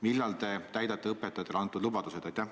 Millal te täidate õpetajatele antud lubadused?